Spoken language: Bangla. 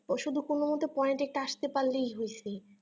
ও শুধু কোনো মতে poient এ একটা আস্তে পারলেই হয়েছে